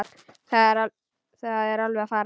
Það er alveg að farast.